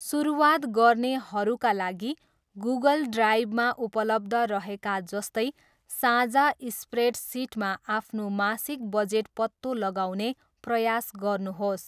सुरुवात गर्नेहरूका लागि, गुगल ड्राइभमा उपलब्ध रहेका जस्तै साझा स्प्रेडसिटमा आफ्नो मासिक बजेट पत्तो लगाउने प्रयास गर्नुहोस्।